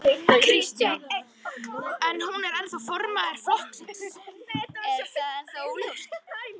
Kristján: En hún er formaður flokksins, er það ennþá óljóst?